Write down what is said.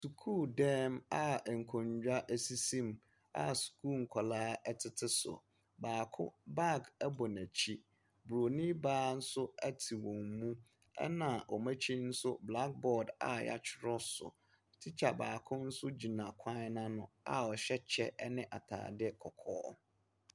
Sukuudan mu a nkonnwa sisi mu a sukuu nkwadaa tete so, baako, baage bɔ n’akyi. Bronin baa nso te wɔn mu, na wɔn akyi nso blackboard a yɛtwerɛ so. Tikya baako nso gyina kwan no ano ɔhyɛ kyɛ ne ataade kɔkɔɔ.